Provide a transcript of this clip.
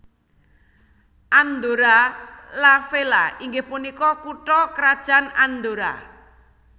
Andorra la Vella inggih punika kutha krajan Andorra